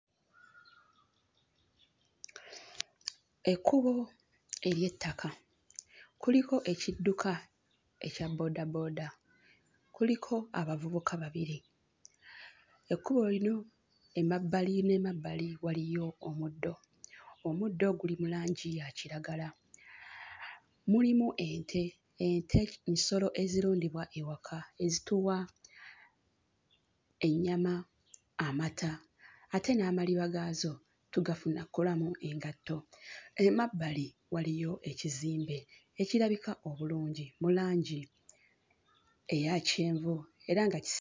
Ekkubo ery'ettaka, kuliko ekidduka ekya boodabooda, kuliko abavubuka babiri. Ekkubo lino emabbali n'emabbali waliyo omuddo. Omuddo guli mu langi ya kiragala. Mulimu ente, ente nsolo ezirundibwa ewaka, ezituwa ennyama, amata, ate n'amaliba gaazo tugafuna kolamu engatto. Emabbali waliyo ekizimbe ekirabika obulungi mu langi eya kyenvu era nga kisi...